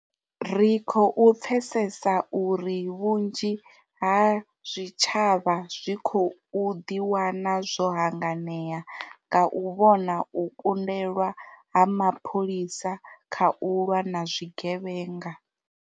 Ri khou pfesesa uri vhunzhi ha zwi tshavha zwi khou ḓiwana zwo hanganea nga u vhona u kundelwa ha mapholisa kha u lwa na zwi gevhenga.